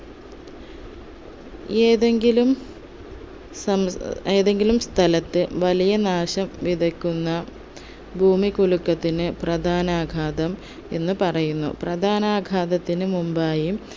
ഏതെങ്കിലും സമ ഏതെങ്കിലും സ്ഥലത്തെ വലിയ നാശം വിതയ്ക്കുന്ന ഭൂമികുലുക്കത്തിന് പ്രധാനാഘാതം എന്ന് പറയുന്നു പ്രധാനാഘാതത്തിന് മുൻപായും